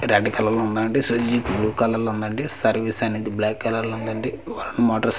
red colour లో ఉందండి Suzuki blue colour లో ఉందండి సర్వీస్ అనేది బ్లాక్ కలర్ లో ఉందండి వరుణ్ మోటార్స్ --